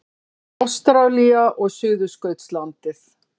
Ástralía og Suðurskautslandið.